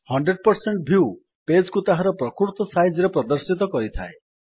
100 view page କୁ ତାହାର ପ୍ରକୃତ ସାଇଜରେ ପ୍ରଦର୍ଶିତ କରିଥାଏ